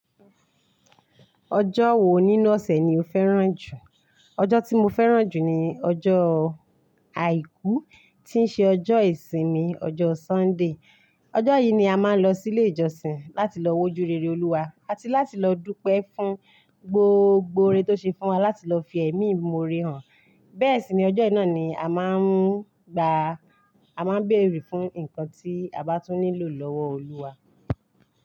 Ọjọ́ wo nínú ọ̀sẹ̀ ni o fẹ́ràn jù? Ọjọ́ tí mo fẹ́ràn jù ni ọjọ́ Àìkú, tí ń ṣe ọjọ́ ìsinmi, ọjọ́ Sunday. Ọjọ́ yìí ni a máa ń lọ sí ilé ìjọsìn láti lọ wá ojú rere Olúwa àti láti lọ dúpẹ́ fún gbogbo oore tó ṣe fún wa láti lọ fi ẹ̀mí imoore hàn. Bẹ́ẹ̀ sì ni ọjọ́ náà ni a máa ń gba, a máa ń bèrè fún nǹkan tí a bá tún nílò lọ́wọ́ Olúwa.